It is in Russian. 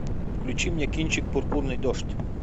включи мне кинчик пурпурный дождь